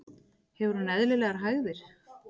Hefur hún eðlilegar hægðir?